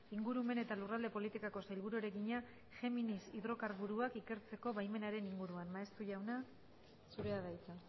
ingurumen eta lurralde politikako sailburuari egina géminis hidrokarburoak ikertzeko baimenaren inguruan maeztu jauna zurea da hitza